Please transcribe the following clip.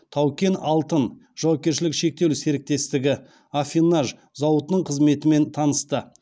тау кен алтын жауапкершілігі шектеулі серіктестігі аффинаж зауытының қызметімен танысты